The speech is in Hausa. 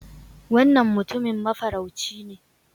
Wannan Mutumin Mafarauci ne